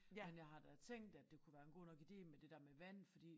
Men jeg har da tænkt at det kunne være en god nok ide med det der med vand fordi